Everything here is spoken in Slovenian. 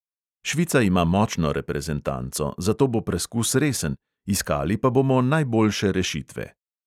Švica ima močno reprezentanco, zato bo preskus resen, iskali pa bomo najboljše rešitve.